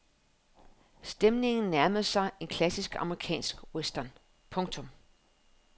Stemningen nærmede sig en klassisk amerikansk western. punktum